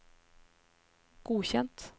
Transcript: godkjent